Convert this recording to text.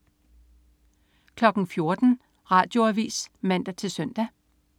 14.00 Radioavis (man-søn)